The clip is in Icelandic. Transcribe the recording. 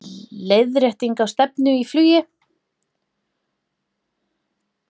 Leiðrétting á stefnu í flugi